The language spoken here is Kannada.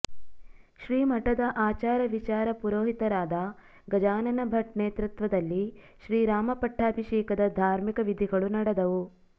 ಶ್ರೀಮಠದ ಆಚಾರ ವಿಚಾರ ಪುರೋಹಿತರಾದ ಗಜಾನನ ಭಟ್ ನೇತೃತ್ವದಲ್ಲಿ ಶ್ರೀರಾಮ ಪಟ್ಟಾಭಿಷೇಕದ ಧಾರ್ಮಿಕ ವಿಧಿಗಳು ನಡೆದವು